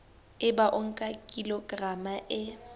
ebe o nka kilograma e